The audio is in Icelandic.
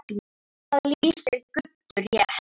Það lýsir Guddu rétt.